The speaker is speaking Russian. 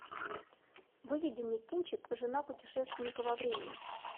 выведи мне кинчик жена путешественника во времени